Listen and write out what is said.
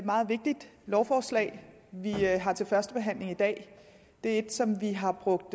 meget vigtigt lovforslag vi har til første behandling i dag det er et som vi har brugt